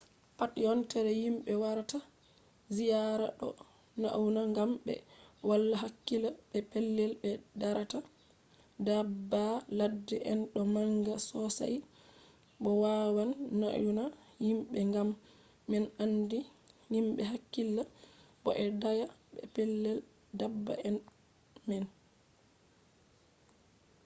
pat yontere himɓe warata ziyaara ɗo nauna gam ɓe wala hakkila be pellel ɓe darata. daabba ladde en ɗo manga sosai bo wawan nauna himɓe gam man handi himɓe hakkila bo ɓe daaya be pellel daabba en man